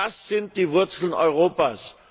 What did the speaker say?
Das sind die Wurzeln Europas!